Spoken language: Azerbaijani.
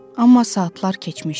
Amma saatlar keçmişdi.